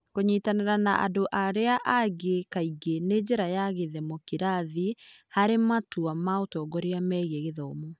Kũnyitanĩra na andũ arĩa angĩ kaingĩ na njĩra ya gĩthemokirathĩ harĩ matua ma ũtongoria megiĩ gĩthomo.